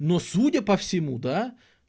но судя по всему да